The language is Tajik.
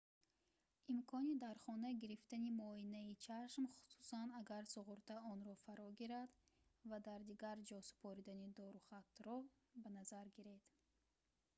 имкони дар хона гирифтани муоинаи чашм хусусан агар суғурта онро фаро гирад ва дар дигар ҷо супоридани дорухатро ба назар гиред